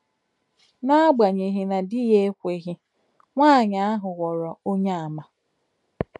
N’agbanyeghị na di ya ekweghi, nwaanyị ahụ ghọrọ Onyeàmà.